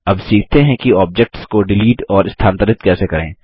अब सीखते हैं कि ऑब्जेक्ट्स को डिलीट और स्थानांतरित कैसे करें